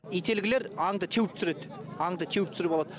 ителгілер аңды теуіп түсіреді аңды теуіп түсіріп алады